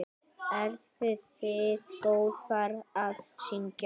Eruð þið góðar að syngja?